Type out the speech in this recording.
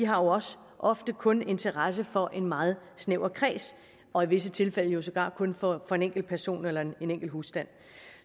har også ofte kun interesse for en meget snæver kreds og i visse tilfælde sågar kun for en enkelt person eller en enkelt husstand